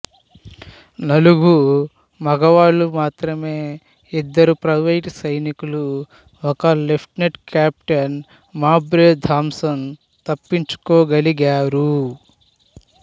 నలుగు మగవాళ్ళు మాత్రమే ఇద్దరు ప్రైవేట్ సైనికులు ఒక లెఫ్టినెంటు కెప్టెన్ మౌబ్రే థామ్సన్ తప్పించుకోగలిగారు